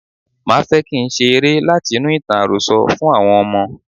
Máa fẹ́ kín ṣe eré láti inú ìtàn àròsọ fún àwọn ọmọ.